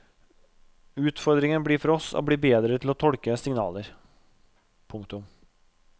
Utfordringen blir for oss å bli bedre til å tolke signaler. punktum